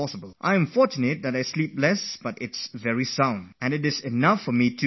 I am fortunate that although I sleep very less, I sleep very soundly and thus am able to manage with that little sleep